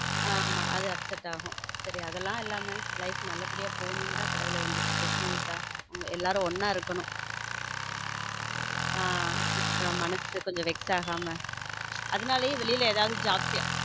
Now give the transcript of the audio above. ஆமா அது upset ஆகும் சரி அதெல்லாம் இல்லாம life நல்லபடியா போனு எல்லாம் கடவுளை வேண்டிட்டு இருக்கேன smooth ஆ எல்லாரும் ஒன்ன இருக்கனும் மனசு கொஞ்சம் vex ஆகாம அதனால வெளியில ஏதாவது job